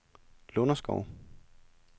Lunderskov